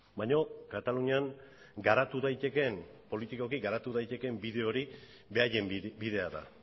baina katalunian garatu daitekeen politikoki garatu daitekeen bide hori beraien bidea da